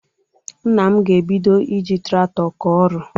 Nna m ga-ebido iji traktọ kọọ ọrụ.